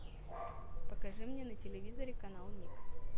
покажи мне на телевизоре канал ник